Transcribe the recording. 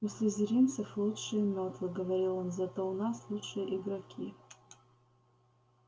у слизеринцев лучшие мётлы говорил он зато у нас лучшие игроки